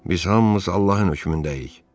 Biz hamımız Allahın hökmündəyik.